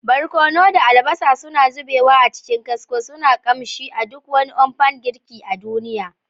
Barkono da albasa suna zubewa a cikin kasko, suna sakin ƙamshi a duk wani umpan girki a duniya.